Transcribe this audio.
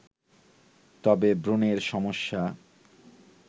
তবে ব্রণের সমস্যা